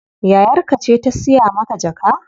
Yayar ka ce ta siya maka jaka?